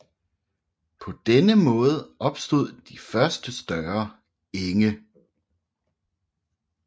På denne måde opstod de første større enge